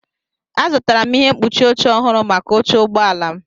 Azụtara m ihe mkpuchi oche ọhụrụ maka oche ụgbọ ala m.